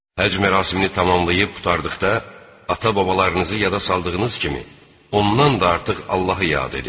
Həcc mərasimini tamamlayıb qurtardıqda, ata-babalarınızı yada saldığınız kimi, ondan da artıq Allahı yad edin.